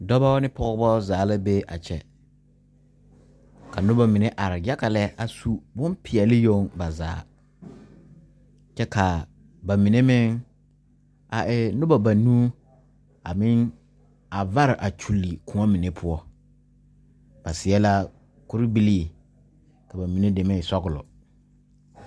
Dɔba ne pɔgebɔ zaa la be a kyɛ ka noba mine are yaga lɛ a su binpeɛle yoŋ ba zaa kyɛ ka ba mine meŋ a e noba banuu a meŋ a vsre kyulli koɔ mine poɔ ba seɛ la kuribilii ka ba mine deme e sɔglɔ.